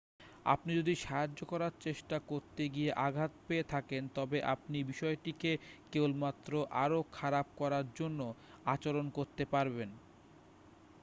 আপনি যদি সাহায্য করার চেষ্টা করতে গিয়ে আঘাত পেয়ে থাকেন তবে আপনি বিষয়টিকে কেবলমাত্র আরও খারাপ করার জন্য আচরণ করতে পারেন